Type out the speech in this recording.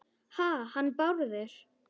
Ha- hann Bárður?